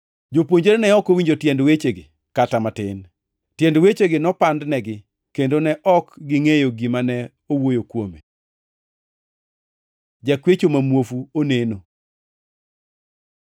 Jopuonjre ne ok owinjo tiend wechegi kata matin. Tiend wechegi nopandnegi, kendo ne ok gingʼeyo gima ne owuoyo kuome. Jakwecho ma muofu oneno